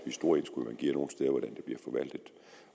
store indskud man giver nogle steder